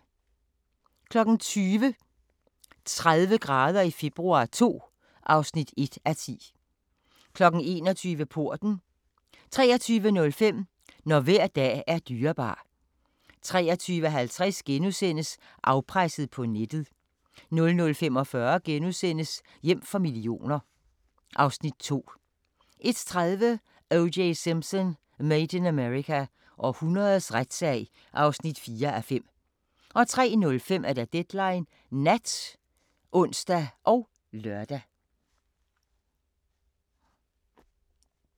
20:00: 30 grader i februar II (1:10) 21:00: Porten 23:05: Når hver dag er dyrebar 23:50: Afpresset på nettet * 00:45: Hjem for millioner (Afs. 2)* 01:30: O.J. Simpson: Made in America – århundredets retssag (4:5) 03:05: Deadline Nat (ons og lør)